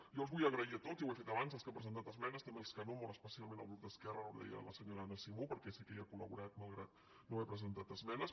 jo els vull donar les gràcies a tots ja ho he fet abans als que han presentat esmenes també als que no molt especialment al grup d’esquerra ara ho deia la senyora anna simó perquè sé que hi ha col·no haverhi presentat esmenes